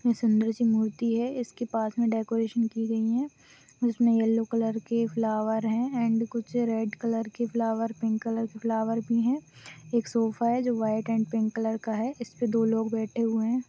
ये सुंदर सी मूर्ति है इसके पास में डेकोरेशन की गई है जिसमें येलो कलर के फ्लावर है एण्ड कुछ रेड कलर के फ्लॉवर पिंक कलर के फ्लावर भी है एक सोफ़ा है जो व्हाइट एण्ड पिंक कलर का है इसपे दो लोग बैठे हुए हैं।